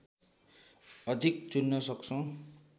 अधिक चुन्न सक्छौँ